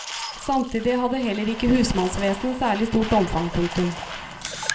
Samtidig hadde heller ikke husmannsvesenet særlig stort omfang. punktum